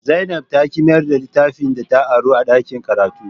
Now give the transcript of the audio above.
Zainab ta ki mayar da littafin da ta aro daga dakin karatu